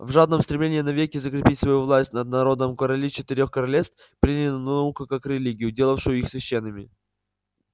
в жадном стремлении навеки закрепить свою власть над народом короли четырёх королевств приняли науку как религию делавшую их священными